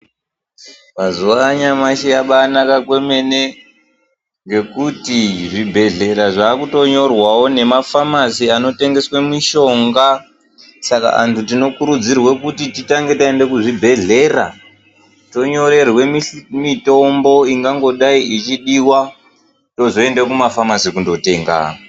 Mazuwanyashi yabanaka kwemene ngekuti zvibhedhlera zvakutonyorwawo nemafamasi anotengeswe mishonga saka antu tinokurudzirwa kuti titange taenda kuzvibhedhlera tonyorerwe mitombo ingangodai ichidiwa tozoende kumafamasi kundotenga.